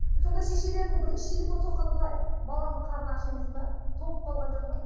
сонда шешелерінің бірінші телефон соққаны былай баламның қарны аш емес пе тоңып қалған жоқ па